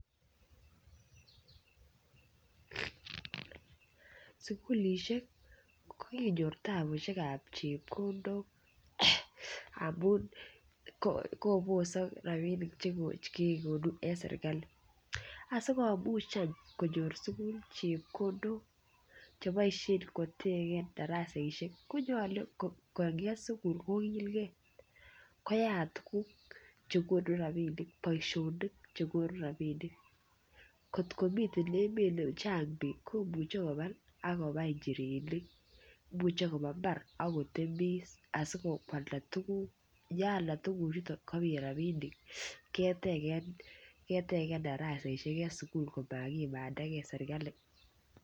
Sukulisiek ko kinyor tapusiek ab chepkondok amun kobosok rabinik Che kegonu en serkali asi komuch any konyor sukul chepkondok Che boisien kotegen darasaisiek ko nyolu konget sukul kogilgei koyat tuguk Che konu rabisiek boisionik chegonu rabinik kotko miten emet nechang bik komuche koba agobai njirenik muche koba mbar ak kotemis asi koalda tuguk ye alda tuguchuton kobit rabinik ketegen darasaisiek en sukul komakimanda ge serkali